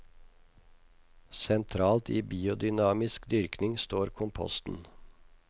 Sentralt i biodynamisk dyrkning står komposten.